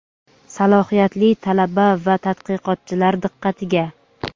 salohiyatli talaba va tadqiqotchilar diqqatiga!.